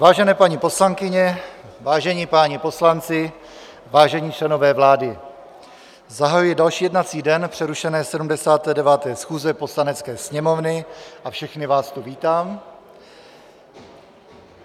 Vážené paní poslankyně, vážení páni poslanci, vážení členové vlády, zahajuji další jednací den přerušené 79. schůze Poslanecké sněmovny a všechny vás tu vítám.